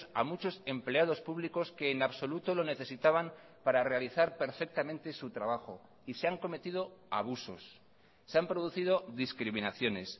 a muchos empleados públicos que en absoluto lo necesitaban para realizar perfectamente su trabajo y se han cometido abusos se han producido discriminaciones